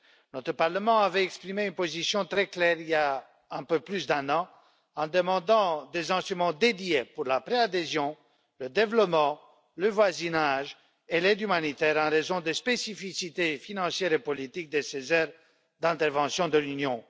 Notre Parlement avait exprimé une position très claire il y a un peu plus d'un an, en demandant des instruments dédiés pour la préadhésion, le développement, le voisinage et l'aide humanitaire, en raison des spécificités financières et politiques de ces aires d'intervention de l'Union.